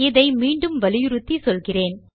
இதை மீண்டும் வலியுறுத்தி சொல்கிறேன்